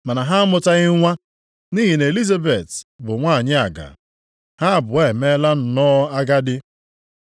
Mana ha amụtaghị nwa, nʼihi na Elizabet bụ nwanyị agaa, ha abụọ emeela nnọọ agadi.